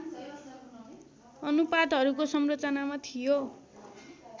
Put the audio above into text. अनुपातहरूको संरचनामा थियो